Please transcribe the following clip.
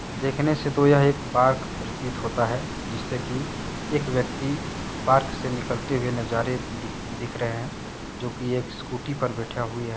देखने से तो यह एक पार्क प्रतीत होता है जिससे कि एक व्यक्ति पार्क से निकलते हुए नजारे दिख दिख रहे हैं जो कि एक स्कूटी पर बैठा हुई है।